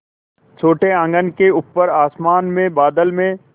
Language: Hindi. छोटे आँगन के ऊपर आसमान में बादल में